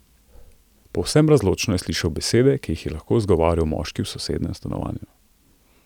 Povsem razločno je slišal besede, ki jih je izgovarjal moški v sosednjem stanovanju.